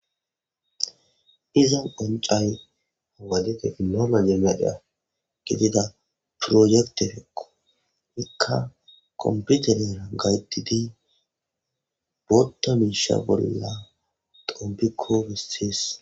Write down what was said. Izan qoncay hawadefe inooma jemeda gidida proyektefeqo ikka komputerera gaytidi bootta miisha bolla dompikko wisis.